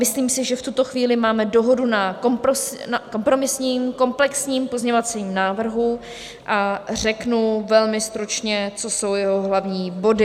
Myslím si, že v tuto chvíli máme dohodu na kompromisním komplexním pozměňovacím návrhu a řeknu velmi stručně, co jsou jeho hlavní body.